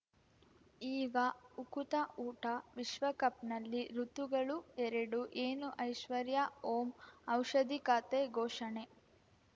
ಈಗ ಉಕುತ ಊಟ ವಿಶ್ವಕಪ್‌ನಲ್ಲಿ ಋತುಗಳು ಎರಡು ಏನು ಐಶ್ವರ್ಯಾ ಓಂ ಔಷಧಿ ಖಾತೆ ಘೋಷಣೆ